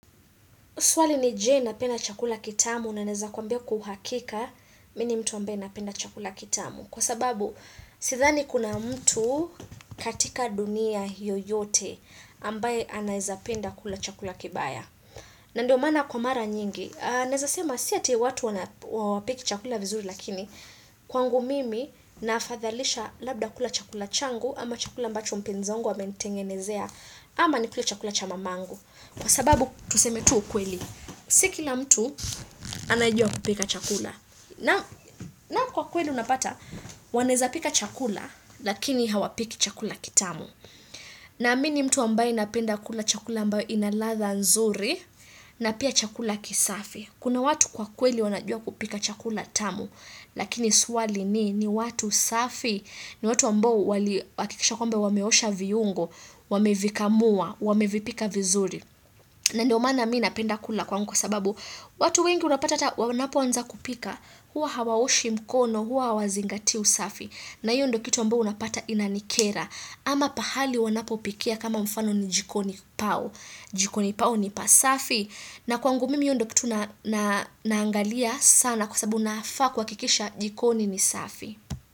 Swali ni je napenda chakula kitamu na naeza kwambia kwa uhakika. Mini mtu ambaye napenda chakula kitamu. Kwa sababu, sithani kuna mtu katika dunia yoyote ambaye anaeza penda kula chakula kibaya. Na ndio maana kwa mara nyingi. Naeza sema si eti watu wana hapiki chakula vizuri lakini. Kwangu mimi nafadhalisha labda kula chakula changu ama chakula ambacho mpenzi wangu amenitengenezea. Ama ni kule chakula chamamangu. Kwa sababu, tuseme tu ukweli. Siki la mtu anajua kupika chakula na kwa kweli unapata wanaeza pika chakula lakini hawapiki chakula kitamu na mini mtu ambaye napenda kula chakula ambayo inaladha nzuri na pia chakula kisafi. Kuna watu kwa kweli wanajua kupika chakula tamu Lakini swali ni ni watu safi ni watu ambao wali hakikisha kwamba wameosha viungo Wamevikamua, wamevipika vizuri na ndio maana mina penda kula kwangu kwa sababu watu wengi unapata wanapo anza kupika Huwa hawaoshi mkono, huwa hawazingatii usafi na hiyo ndo kitu ambayo unapata inanikera ama pahali wanapo pikia kama mfano ni jikoni pao jikoni pao ni pasafi na kwangu mimi ndio kitu na naangalia sana kwa sababu nafaa kua kikisha jikoni ni safi.